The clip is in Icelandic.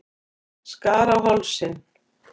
Skar á hálsinn.